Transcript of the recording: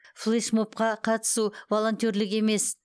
флеш мобқа қатысу волонтерлік емес